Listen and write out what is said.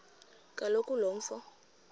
kaloku lo mfo